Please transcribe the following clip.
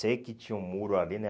Sei que tinha um muro ali, né?